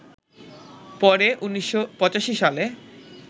পরে ১৯৮৫ সালে